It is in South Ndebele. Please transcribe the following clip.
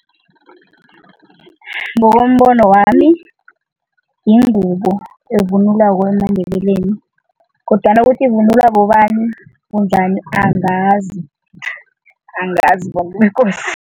Ngokombono wami, yingubo evunulwako emaNdebeleni kodwana ukuthi ivunulwa bobani, bunjani, angazi angazi bantu bekosi.